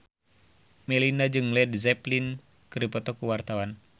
Melinda jeung Led Zeppelin keur dipoto ku wartawan